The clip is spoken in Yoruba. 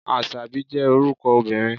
Àṣàbí jẹ́ orúkọ obìnrin.